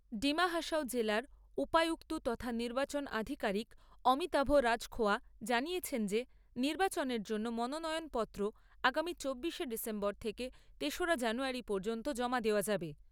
ডিমা হাসাও জেলার উপায়ুক্ত তথা নির্বাচন আধিকারিক অমিতাভ রাজখোয়া জানিয়েছেন যে নির্বাচনের জন্য মনোনয়নপত্র আগামী চব্বিশে ডিসেম্বর থেকে তেসরা জানুয়ারী পর্যন্ত জমা দেওয়া যাবে।